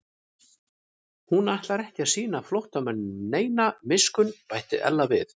Hún ætlar ekki að sýna flóttamanninum neina miskunn bætti Ella við.